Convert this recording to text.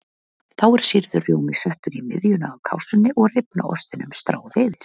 Þá er sýrður rjómi settur í miðjuna á kássunni og rifna ostinum stráð yfir.